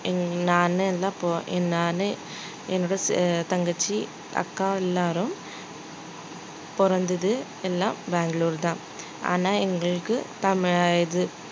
ஆஹ் நான் அப்போ நானு என்னோட தங்கச்சி அக்கா எல்லாரும் பொறந்தது எல்லாம் பெங்களூரு தான் ஆனா எங்களுக்கு தமிழா~ இது